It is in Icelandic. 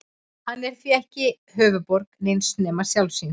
Hann er því ekki höfuðborg neins nema sjálfs sín.